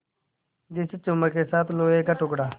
जैसे चुम्बक के साथ लोहे का टुकड़ा